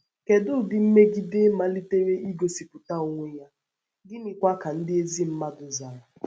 Kèdù ụdị mmègìdè malitèrè ìgòspụta onwe ya, gị́nị̀kwa ka ndị ezi mmàdù zàrà?